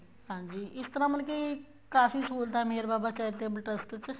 ਹਾਂਜੀ ਇਸ ਤਰ੍ਹਾਂ ਮਤਲਬ ਕੀ ਕਾਫ਼ੀ ਸਹੂਲਤਾ ਨੇ ਮੇਹਰ ਬਾਬਾ charitable trust ਚ